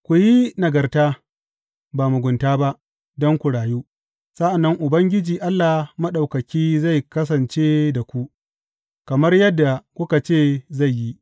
Ku yi nagarta, ba mugunta ba; don ku rayu sa’an nan Ubangiji Allah Maɗaukaki zai kasance da ku, kamar yadda kuka ce zai yi.